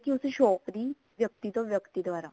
ਉਸ shop ਦੀ ਵਿਅਕਤੀ ਤੋਂ ਵਿਅਕਤੀ ਦਵਾਰਾ